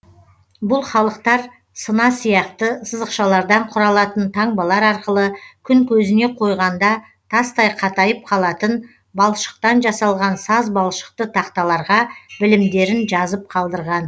бұл халықтар сына сияқты сызықшалардан құралатын таңбалар арқылы күн көзіне қойғанда тастай қатайып қалатын балшықтан жасалған саз балшықты тақталарға білімдерін жазып қалдырған